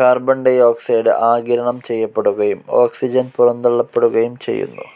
Carbon dioxide ആഗിരണം ചെയ്യപ്പെടുകയും, oxygen പുറന്തള്ളപ്പെടുകയും ചെയ്യുന്നു.